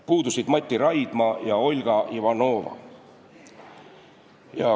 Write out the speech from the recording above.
Puudusid Mati Raidma ja Olga Ivanova.